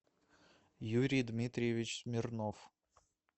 юрий дмитриевич смирнов